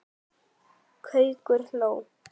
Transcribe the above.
Gaukur hló.